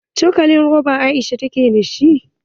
Cokalin roba Aisha take da shi.